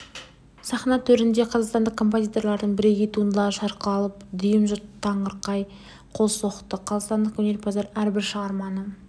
сахна төрінде қазақстандық композиторлардың бірегей туындылары шырқалып дүйім жұрт таңырқай қол соқты қазақстандық өнерпаздар әрбір шығарманы